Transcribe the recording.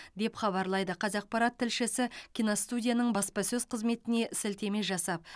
деп хабарлайды қазақпарат тілшісі киностудияның баспасөз қызметіне сілтеме жасап